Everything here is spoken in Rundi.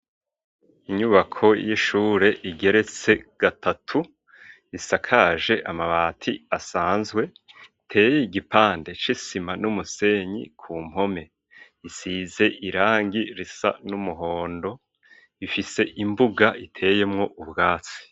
Inyubako y'ishure igeretse gatatu isakaje amabati asanzwe iteye igipande c'isima n'umusenyi ku mpome isize irangi risa n'umuhondo ifise imbuga iteyemwo ubwatsi.